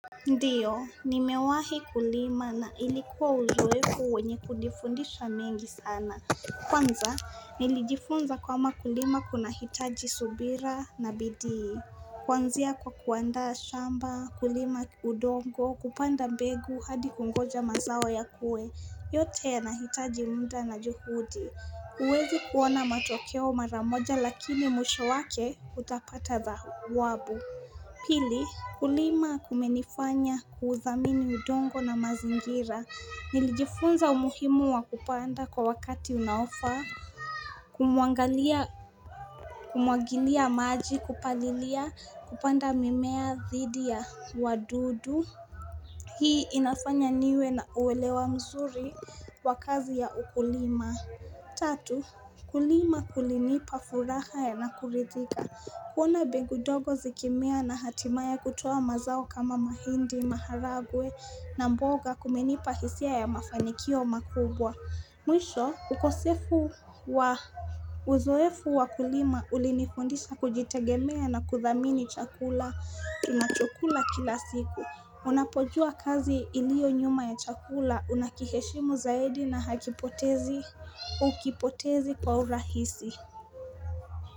Ndiyo, nimewahi kulima na ilikuwa uzofu kuwenye kujifundisha mengi sana. Kwanza, nilijifunza kwamba kulima kuna hitaji subira na bidii. Kwanzia kwa kuanda shamba, kulima udongo, kupanda mbegu hadi kungoja mazao ya kue, yote ya nahitaji mda na juhudi. Uwezi kuona matokeo maramoja lakini mwisho wake utapata za wabu. Pili kulima kumenifanya kuuthamini udongo na mazingira Nilijifunza umuhimu wa kupanda kwa wakati unaofa Kumuangalia kumuagilia maji kupalilia kupanda mimea dhidi ya wa dudu Hii inafanya niwe na uwelewa mzuri wa kazi ya ukulima Tatu kulima kulinipa furahae na kuridhika kuona mbegu ndogo zikimea na hatimaye kutuwa mazao kama mahindi, maharagwe na mboga kumenipa hisia ya mafanikio makubwa. Mwisho, ukosefu wa uzoefu wakulima ulinifondisha kujitegemea na kuthamini chakula. Tunachokula kila siku. Unapojua kazi ilio nyuma ya chakula. Unakiheshimu zaidi na uakipotezi kwa urahisi.